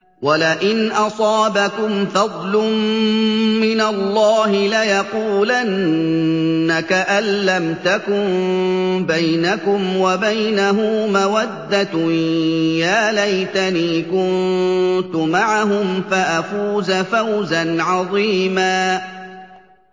وَلَئِنْ أَصَابَكُمْ فَضْلٌ مِّنَ اللَّهِ لَيَقُولَنَّ كَأَن لَّمْ تَكُن بَيْنَكُمْ وَبَيْنَهُ مَوَدَّةٌ يَا لَيْتَنِي كُنتُ مَعَهُمْ فَأَفُوزَ فَوْزًا عَظِيمًا